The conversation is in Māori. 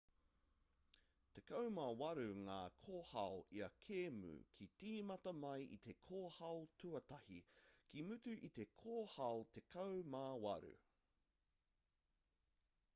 tekau mā waru ngā kōhao ia kēmu ka tīmata mai i te kōhao tuatahi ka mutu i te kōhao tekau mā waru